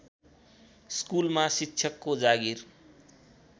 स्कुलमा शिक्षकको जागिर